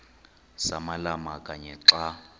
samalama kanye xa